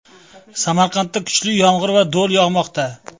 Samarqandda kuchli yomg‘ir va do‘l yog‘moqda .